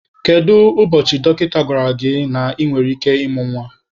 Kedu ụbọchị dọkịta gwara gị na ị nwere ike ịmụ nwa?